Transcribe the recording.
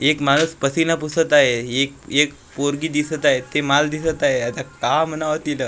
एक माणूस पसीना पुसत आहे एक एक पोरगी दिसत आहे ते माल दिसत आहे आता का म्हणावं तील--